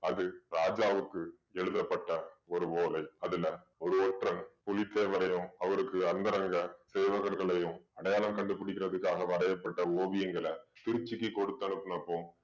அது ராஜாவுக்கு எழுதப்பட்ட ஒரு ஓலை. அதுல ஒரு ஒற்றன் புலித்தேவரையும் அவருக்கு அந்தரங்க சேவகர்களையும் அடையாளம் கண்டுபிடிக்கறத்துக்காக வரையப்பட்ட அந்த ஓவியங்களை திருச்சிக்கு கொடுத்தனுப்பினப்ப